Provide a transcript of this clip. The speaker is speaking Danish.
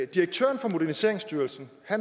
direktøren for moderniseringsstyrelsen